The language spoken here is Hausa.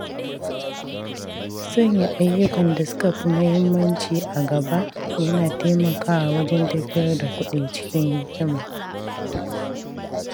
Sanya ayyukan da suka fi muhimmanci a gaba yana taimakawa wajen tafiyar da kuɗi cikin hikima.